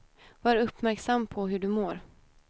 Var uppmärksam på hur du mår.